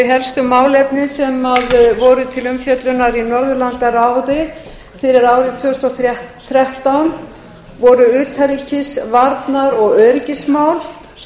helstu málefni sem voru til umfjöllunar í norðurlandaráði fyrir árið tvö þúsund og þrettán voru utanríkis varnar og öryggismál